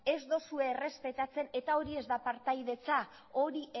ez dozue errespetatzen eta hori ez da partaidetza hori